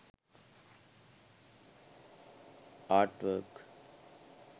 art work